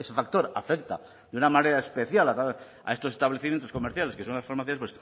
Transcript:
factor afecta de una manera especial a estos establecimientos comerciales que son las farmacias